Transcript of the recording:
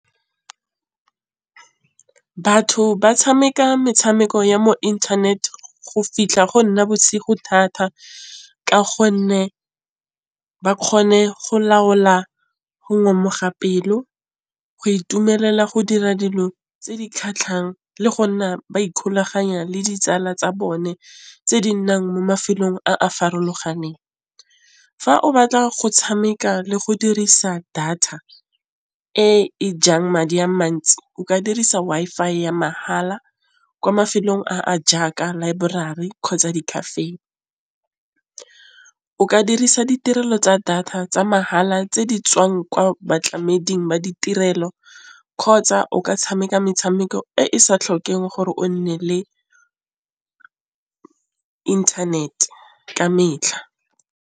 Batho ba tšhameka metšhameko ya mo internet go fitlha go nna bosigo thata ka gonne ba kgone go laola go ngomoga pelo. Go itumelela go dira dilo tse di kgatlhang le go nna ba ikgolaganya le ditsala tsa bone tse di nnang mo mafelong a a farologaneng. Fa o batla go tšhameka le go dirisa data e jang madi a mantsi o ka dirisa Wi-Fi ya mahala kwa mafelong a a jaaka laeborari kgotsa di-cafe o ka dirisa ditirelo tsa data tsa mahala tsala tse di tswang kwa batlamedi ba ditirelo kgotsa o ka tšhameka metšhameko e e sa tlhokeng gore o nne le inthanete ka metlha.